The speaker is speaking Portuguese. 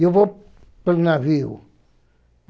Eu vou para o navio.